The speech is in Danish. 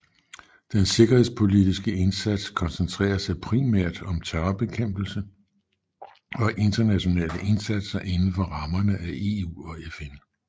Den sikkerhedspolitiske indsats koncentrerer sig primært om terrorbekæmpelse og internationale indsatser inden for rammerne af EU og FN